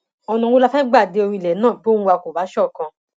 ọnà wo la fẹẹ gbà dé orí ilẹ náà bí ohùn wa kò bá ṣọkan